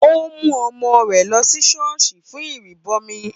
Ó mú ọmọ rẹ̀ lọ sí ṣọ́ọ̀ṣì fún ìrìbọmi